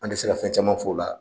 An tɛ se ka fɛn caman f'o la